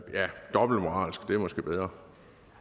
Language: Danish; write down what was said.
dobbeltmoralsk det er måske bedre